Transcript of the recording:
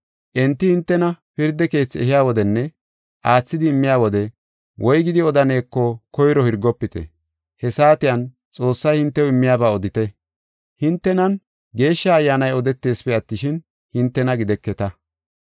Enti hintena pirda keethi ehiya wodenne aathidi immiya wode, woygidi odaneko koyro hirgofite; he saatiyan Xoossay hintew immiyaba odite. Hintenan Geeshsha Ayyaanay odeteesipe attishin, hintena gideketa.